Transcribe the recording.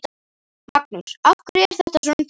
Magnús: Af hverju er þetta svona dýrt?